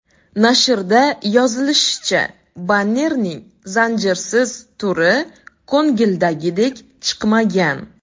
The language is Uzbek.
Nashrda yozilishicha, bannerning zanjirsiz turi ko‘ngildagidek chiqmagan.